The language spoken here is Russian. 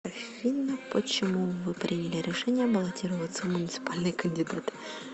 афина почему вы приняли решение баллотироваться в муниципальные кандидаты